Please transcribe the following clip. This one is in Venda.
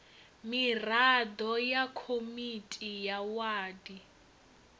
miraḓo ya komiti ya wadi